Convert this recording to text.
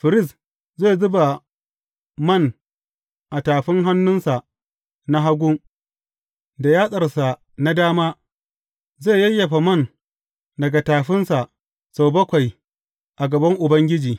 Firist zai zuba man a tafin hannunsa na hagu, da yatsarsa na dama zai yayyafa man daga tafinsa sau bakwai a gaban Ubangiji.